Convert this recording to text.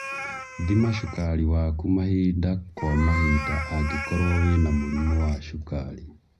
Thima cukari waku mahinda kwa mahinda angĩkorwo wina mũrimũ wa cukari